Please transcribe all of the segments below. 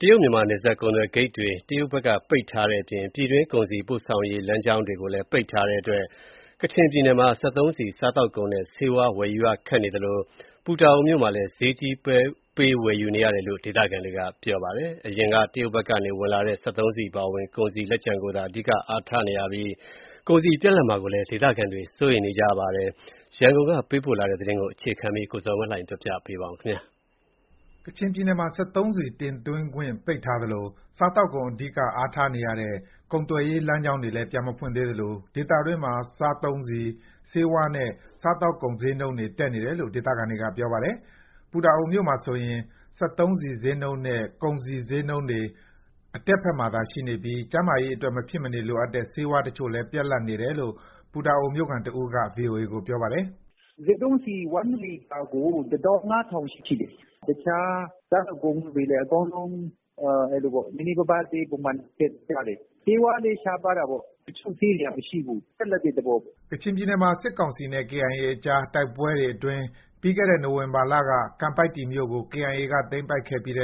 တရုတ်-မြန်မာ နယ်စပ်ကုန်စည်ဂိတ်တွေကို တရုတ်ဘက်ကပိတ်ထားတဲ့အပြင် ပြည်တွင်း ကုန်စည်ပို့ ဆောင်ရေးလမ်းကြောင်းတွေကိုလည်း ပိတ်ထားတဲ့အတွက် ကချင်ပြည်နယ်မှာ စက်သုံးဆီ၊ စားသောက်ကုန်နဲ့ ဆေးဝါး ဝယ်ယူရခက်ခဲနေသလို ပူတာအိုမြို့မှာလည်း ဈေးကြီးပေးဝယ်ယူ နေရတယ်လို့ ဒေသခံတွေက ပြောပါတယ်။ အရင်က တရုတ်ဘက်ကနေ ဝင်လာတဲ့ စက်သုံးဆီ အပါအဝင် ကုန်စည်လက်ကျန်ကိုသာ အဓိက အားထားနေရပြီး ကုန်စည်ပြတ်လပ်မှာကိုလည်း ဒေသခံတွေ စိုးရိမ်နေကြပါတယ်။ ဒီအကြောင်း ရန်ကုန်ကပေးပို့ထားတဲ့သတင်းကို အခြေခံပြီး ကိုဇော်ဝင်းလှိုင်က တင်ပြပေးထားပါတယ်။ ကချင်ပြည်နယ်မှာ စက်သုံးဆီတင်သွင်းခွင့် ပိတ်ထားသလို စားသောက်ကုန်အဓိက အားထားနေရတဲ့ ကုန်သွယ်ရေးလမ်းကြောင်းတွေလည်း ပြန်မဖွင့်သေးလို့ ဒေသတွင်းမှာ စက်သုံးဆီ၊ ဆေးဝါးနဲ့ စားသောက်ကုန်ဈေးနှုန်းတွေ တက်နေတယ်လို့ ဒေသခံတွေက ပြောပါတယ်။ ပူတာအိုမြို့မှာဆိုရင် စက်သုံးဆီဈေးနှုန်းနဲ့ ကုန်စည်ဈေးနှုန်းတွေ အတက်ဘက်မှာသာ ရှိနေပြီး ကျန်းမာရေးအတွက် မဖြစ်မနေလိုအပ်တဲ့ ဆေးဝါးတချို့လည်း ပြတ်လပ်နေတယ်လို့ ပူတာအိုမြို့ခံတဦးက ဗွီအိုအေကို ပြောပါတယ်။ "စက်သုံးဆီတလီတာကို တသောင်းခွဲ (၁၅,၀၀၀) ရှိတယ်။ တခြား စားသောက်ကုန်ဈေးတွေလည်း အကုန်လုံး နည်းနည်းပါးပါး ပုံမှန်ဈေးတက်ကြတယ်။ ဆေးဝါးလည်း ရှားပါးတာပေါ့။ တချို့ဆေးတွေက မရှိဘူး။ ပြတ်လပ်တဲ့သဘောပေါ့။" ကချင်ပြည်နယ်မှာ စစ်ကောင်စီနဲ့ KIA ကြား တိုက်ပွဲတွေအတွင်း ပြီးခဲ့တဲ့ နိုဝင်ဘာလက ကံပိုင်တည် (ကန်ပိုက်တီ) မြို့ကို KIA ဘက်က သိမ်းပိုက်ခဲ့ပြီး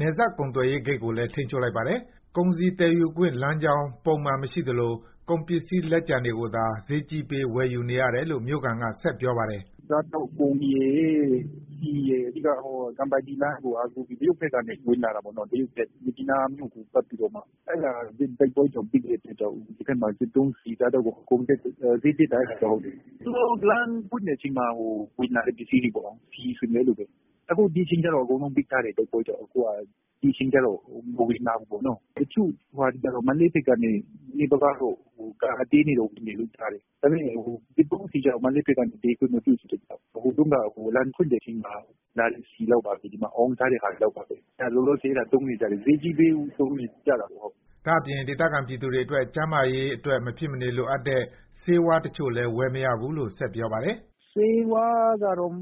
နယ်စပ်ကုန်သွယ်ရေးဂိတ်ကိုလည်း ထိန်းချုပ် လိုက်ပါတယ်။ ကုန်စည်သယ်ယူခွင့်လမ်းကြောင်း ပုံမှန်မရှိလို့ ကုန်ပစ္စည်းလက်ကျန်တွေကိုသာ ဈေးကြီးပေးဝယ်ယူနေရတယ်လို့ မြို့ခံက ဆက်ပြောပါတယ်။ "စားသောက်ကုန်နဲ့ စက်သုံးဆီကတော့ ကံပိုင်တည်လမ်းကိုအားကိုးပြီး တရုတ်ဘက်ကနေ ဝင်လာတာ ပေါ့။ မြစ်ကြီးနားမြို့ကို ပတ်ပြီးတော့မှ။ အဲဒါက တိုက်ပွဲကြောင့်ပိတ်လိုက်တော့ ဒီဘက်မှာ စက်သုံးဆီ၊ စားသောက်ကုန် အကုန်ဈေးတက်တယ်။ သူတို့လမ်းဖွင့်ချိန်မှာ ဝင်လာတဲ့ကုန်စည်တွေပေါ့။ အခုတော့ တိုက်ပွဲကြောင့် အကုန်ပိတ်ထားတယ်။ ဒီအချိန်ကျတော့ မဝင်လာဘူးပေါ့။ တချို့ကုန်တွေကတော့ မန္တလေးဘက်ကနေ ကားအသေးနဲ့ နည်းနည်းပါးပါးဝင်တယ်။ ဒါပေမဲ့စက်သုံးဆီကျတော့ မန္တလေးဘက်ကနေ သယ်ယူခွင့်မပြုဘူး။ ဟိုတုန်းက လမ်းဖွင့်တဲ့အချိန်မှာလာတဲ့ ဆီလောက်ပါပဲ၊ဒီမှာ အောင်းထားတဲ့ဟာတွေပါ။ ဒါတွေပဲ သုံးနေကြတာပဲ။ ဈေးကြီးပေး သုံးနေကြတာပေါ့။" ဒါ့အပြင် ဒေသခံပြည်သူတွေအတွက် ကျန်းမာရေးအတွက် မဖြစ်မနေလိုအပ်တဲ့ ဆေးဝါးတချို့လည်း ဝယ်မရဘူးလို့ဆက်ပြောပါတယ်။ "ဆေးဝါးကတော့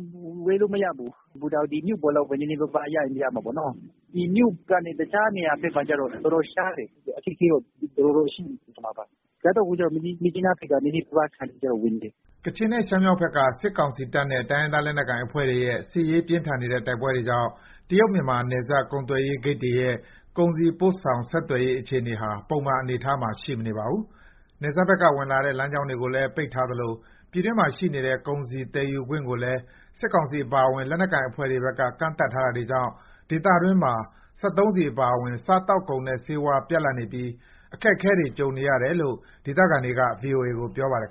ဝယ်လို့မရဘူး။ ပူတာအိုမြို့ပေါ်လောက်ပဲ နည်းနည်းပါးပါးရချင်ရမယ်။ ဒီမြို့ကနေ တခြားနေရာဘက်မှာတော့ တော်တော်ရှားတယ်။ အခက်အခဲတော့ တော်တော်ရှိနေတာပါ။ စားသောက်ကုန်ကတော့ မြစ်ကြီးနားဘက်ကနေ နည်းနည်းပါးပါး တခါတလေဝင်တယ်။" ကချင်နဲ့ ရှမ်းမြောက်ဘက်က စစ်ကောင်စီတပ်နဲ့ တိုင်းရင်းသားလက်နက်ကိုင်အဖွဲ့တွေရဲ့ စစ်ရေး ပြင်းထန်နေတဲ့တိုက်ပွဲတွေကြောင့် တရုတ်-မြန်မာ နယ်စပ်ကုန်သွယ်ရေး ဂိတ်တွေရဲ့ ကုန်စည်ပို့ဆောင် ဆက်သွယ်ရေးအခြေအနေဟာပုံမှန်အနေအထားမှာ ရှိမနေပါဘူး။ နယ်စပ်ဘက်က ဝင်လာတဲ့ လမ်းကြောင်းတွေကိုလည်း ပိတ်ပင်ထားသလိုပြည်တွင်းမှာရှိနေတဲ့ ကုန်စည်သယ်ယူခွင့်ကိုလည်း စစ်ကောင်စီအပါအဝင် လက်နက်ကိုင်အဖွဲ့တွေဘက်က ကန့်သတ်ထားတာတွေကြောင့် ဒေသတွင်းမှာ စက်သုံးဆီအပါအဝင် စားသောက်ကုန်နဲ့ ဆေးဝါး ပြတ်လပ်နေပြီး အခက်အခဲတွေကြုံနေရတယ်လို့ ဒေသခံတွေက ဗွီအိုအေကို ပြောပါတယ်